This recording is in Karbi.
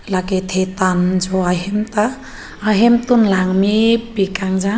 lake thetan jo ahem ta ahemtun langmepik khangjang.